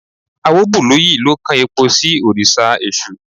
Awóbùlúyì lọ kan epo sí orí òrìṣà èṣù